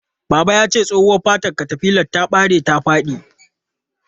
Baba yace tsohuwa fatar katafilar ta bare ta fadi.